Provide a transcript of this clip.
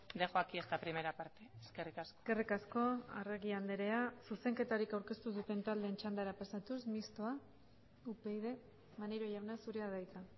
dejo aquí esta primera parte eskerrik asko eskerrik asko arregi andrea zuzenketarik aurkeztu ez duten taldeen txandara pasatuz mistoa upyd maneiro jauna zurea da hitza